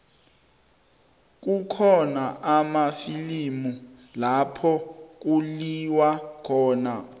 kukhona amafilimu lapho kuliwa khona